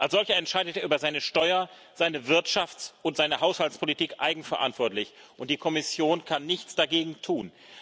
Als solcher entscheidet er über seine Steuer seine Wirtschafts und seine Haushaltspolitik eigenverantwortlich, und die Kommission kann nichts dagegen tun.